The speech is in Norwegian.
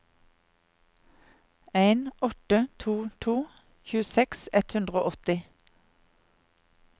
en åtte to to tjueseks ett hundre og åtti